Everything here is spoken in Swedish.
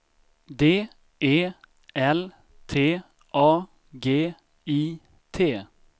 D E L T A G I T